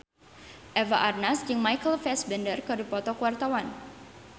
Eva Arnaz jeung Michael Fassbender keur dipoto ku wartawan